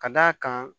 Ka d'a kan